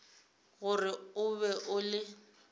gore o be o le